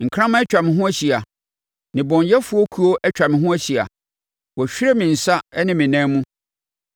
Nkraman atwa me ho ahyia nnebɔneyɛfoɔ kuo atwa me ho ahyia, wɔahwire me nsa ne me nan mu.